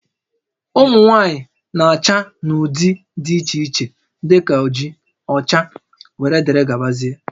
Ụmụ nwaanyị na-acha n'ụdị dị iche iche dị ka oji, ọcha wdg